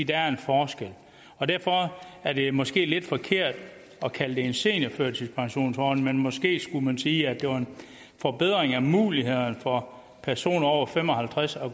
der er en forskel og derfor er det måske lidt forkert at kalde det en seniorførtidspensionsordning måske skulle man sige at det er en forbedring af mulighederne for at personer over fem og halvtreds år